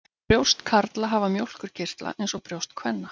Brjóst karla hafa mjólkurkirtla eins og brjóst kvenna.